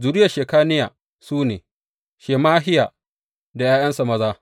Zuriyar Shekaniya su ne, Shemahiya da ’ya’yansa maza.